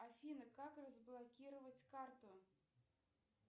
афина как разблокировать карту